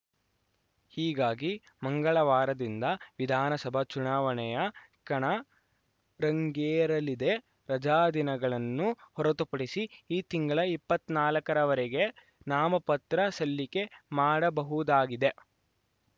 ಹೀಗಾಗಿ ಮಂಗಳವಾರದಿಂದ ವಿಧಾನಸಭಾ ಚುನಾವಣೆಯ ಕಣ ರಂಗೇರಲಿದೆ ರಜಾದಿನಗಳನ್ನು ಹೊರತುಪಡಿಸಿ ಈ ತಿಂಗಳ ಇಪ್ಪತ್ತ್ ನಾಲಕರವರೆಗೆ ನಾಮಪತ್ರ ಸಲ್ಲಿಕೆ ಮಾಡಬಹುದಾಗಿದೆ